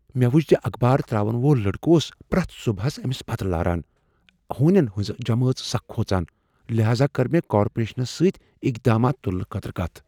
مےٚ وُچھ ز آخبار ترٛاون وول لڑکہٕ اوس پرٛیتھ صبحس أمس پتہٕ لاران ہونٮ۪ن ہٕنٛزٕ جمٲژ سکھ کھوژان۔ لہاذا کٔر مےٚ کارپوریشنس سۭتۍ اقدامات تُلنہٕ خٲطرٕ کتھ۔